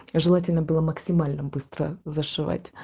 желательно было максимально быстро зашить